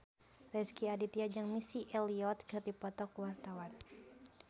Rezky Aditya jeung Missy Elliott keur dipoto ku wartawan